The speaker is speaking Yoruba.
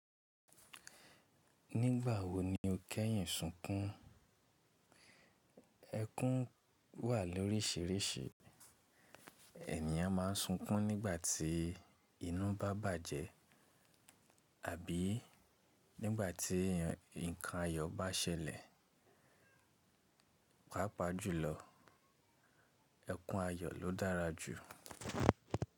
Nígbà wo ni o kẹ́yìn sunkún? Ẹkún wà lóríṣiríṣi. Ènìyàn ma ń sunkún nígbà tí inú bá bàjẹ́ àbí nígbà tí nǹkan ayọ̀ bá ṣẹlẹ̀. Pápá jùlọ, ẹkún ayọ̀ ló dára jù.